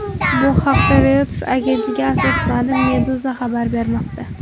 Bu haqda, Reuters agentligiga asoslanib, Meduza xabar bermoqda .